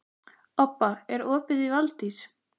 Obba, er opið í Valdís?